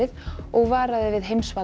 og varaði við